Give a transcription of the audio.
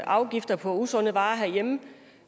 afgifter på usunde varer herhjemme